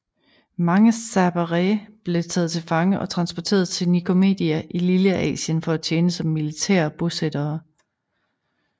Mange serberee blev taget til fange og transporteret til Nicomedia i Lilleasien for at tjene som militærebosættere